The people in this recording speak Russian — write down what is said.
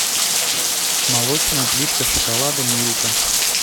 молочная плитка шоколада милка